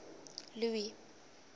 louis